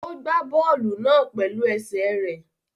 Ó gbá bọ́ọ̀lù náà pẹ̀lú ẹsẹ̀ rẹ̀